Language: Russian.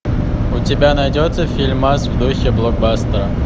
у тебя найдется фильмас в духе блокбастера